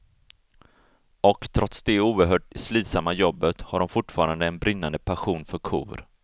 Och trots det oerhört slitsamma jobbet har de fortfarande en brinnande passion för kor.